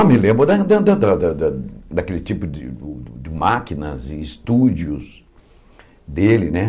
Ah, me lembro da da da da da da daquele tipo de de máquinas e estúdios dele, né?